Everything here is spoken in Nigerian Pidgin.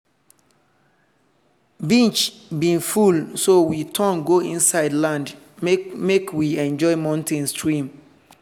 beach bin full so we turn go inside land make make we enjoy mountain stream.